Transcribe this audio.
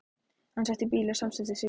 Hann setti bílinn samstundis í gang.